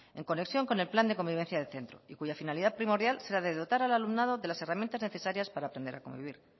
en conexión con el plan de convivencia de centro y cuya finalidad primordial será de dotar al alumnado de las herramientas necesarias para aprender a convivir